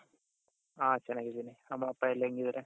ಹ ಚೆನ್ನಾಗಿದ್ದೀನಿ ಅಮ್ಮ ಅಪ್ಪ ಎಲ್ಲಾ ಹೆಂಗಿದಾರೆ?